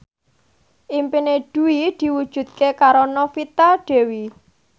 impine Dwi diwujudke karo Novita Dewi